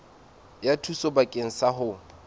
ya thuso bakeng sa ho